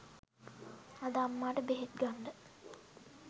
අද අම්මාට බෙහෙත් ගන්ඩ